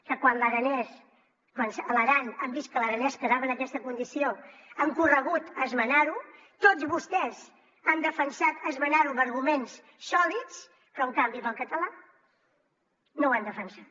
que quan a l’aran han vist que l’aranès quedava en aquesta condició han corregut a esmenarho tots vostès han defensat esmenarho amb arguments sòlids però en canvi per al català no ho han defensat